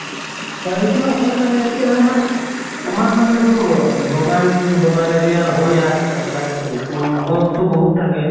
হয় এইটোয়ে হয় মানে এতিয়া আমাৰ আমাৰ মানে এইটো বগান বগান area ৰ হৈ আহে ন current টো, তো টো বহুত থাকে।